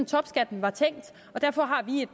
topskatten var tænkt og derfor har vi